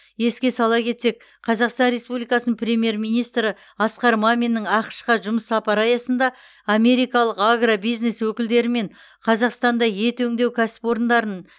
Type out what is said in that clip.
еске сала кетсек қазақстан республикасының премьер министрі асқар маминнің ақш қа жұмыс сапары аясында америкалық агробизнес өкілдерімен қазақстанда ет өңдеу кәсіпорындарын